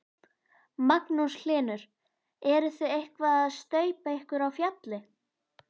Magnús Hlynur: Eruð þið eitthvað að staupa ykkur á fjalli?